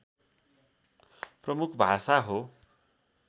प्रमुख भाषा हो